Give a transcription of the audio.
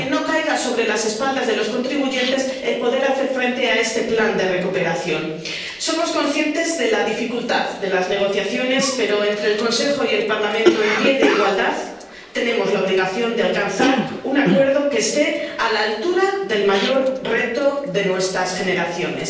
Que no caiga sobre las espaldas de los contribuyentes el poder hacer frente a este plan de recuperación. Somos conscientes de la dificultad de las negociaciones, pero con el Consejo y el Parlamento en pie de igualdad tenemos la obligación de alcanzar un acuerdo que esté a la altura del mayor reto de nuestras generaciones.